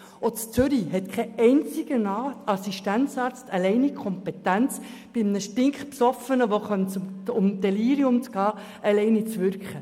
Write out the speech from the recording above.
Auch in Zürich hat kein Assistenzarzt die alleinige Kompetenz, bei einem sehr Betrunkenen alleine zu handeln.